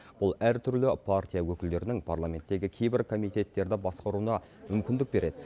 бұл әртүрлі партия өкілдерінің парламенттегі кейбір комитеттерді басқаруына мүмкіндік береді